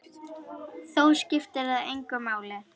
Þó skiptir það engu máli.